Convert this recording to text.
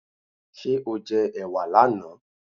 Ṣé o jẹ ẹ̀wà là na?